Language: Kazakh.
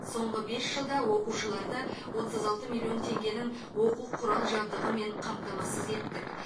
соңғы бес жылда оқушыларды отыз алты миллион теңгенің оқу құрал жабдығымен қамтамасыз еттік